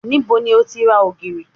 Níbo ni o ti ra ògìrì?